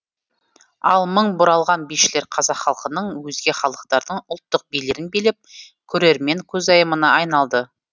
ал мың бұралған бишілер қазақ халқының өзге халықтардың ұлттық билерін билеп көрермен көзайымына айналды